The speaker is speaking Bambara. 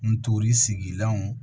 Ntori sigilanw